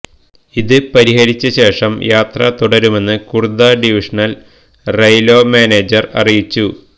ഇത് പരിഹരിച്ച ശേഷം യാത്ര തുടരുമെന്ന് കുര്ദ്ദ ഡിവിഷണല് റെയില്വേ മാനേജര് അറിയിച്ചു